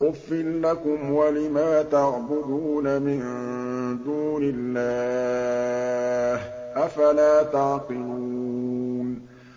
أُفٍّ لَّكُمْ وَلِمَا تَعْبُدُونَ مِن دُونِ اللَّهِ ۖ أَفَلَا تَعْقِلُونَ